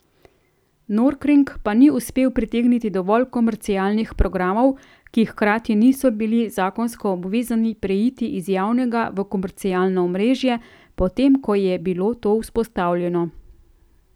Norkring pa ni uspel pritegniti dovolj komercialnih programov, ki hkrati niso bili zakonsko obvezani preiti iz javnega v komercialno omrežje, potem ko je bilo to vzpostavljeno.